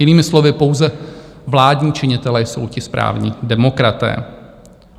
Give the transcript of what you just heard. Jinými slovy, pouze vládní činitelé jsou ti správní demokraté.